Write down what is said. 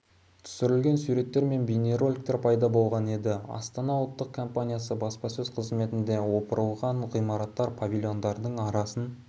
түсірілген суреттер мен бейнероликтер пайда болған еді астана ұлттық компаниясы баспасөз-қызметінде опырылған ғимаратты павильондардың арасын